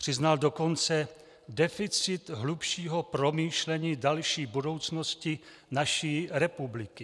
Přiznal dokonce deficit hlubšího promýšlení další budoucnosti naší republiky.